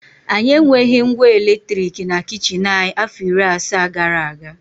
Anyị enweghị ngwa eletrik na kichin anyị afọ iri asaa gara aga.